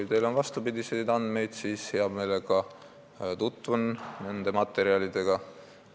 Kui teil on vastupidiseid andmeid, siis ma hea meelega tutvun nende materjalidega.